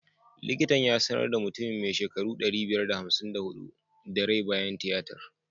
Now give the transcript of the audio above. Likitan ya sanar da mutumin mai shekaru ɗari biyar da hamsin da huɗu da rai bayan tiyatar.